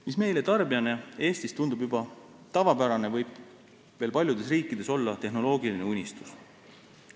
Mis meile tarbijana Eestis tundub juba tavapärane, võib veel paljudes riikides olla tehnoloogiline unistus.